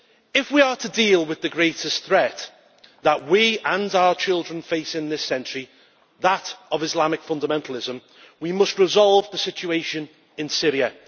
If we are to deal with the greatest threat that we and our children face in this century that of Islamic fundamentalism we must resolve the situation in Syria.